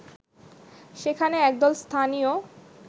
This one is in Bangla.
সেখানে একদল স্থানীয়